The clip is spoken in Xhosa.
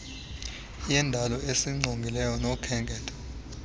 yendalo esingqongileyo nokhenketho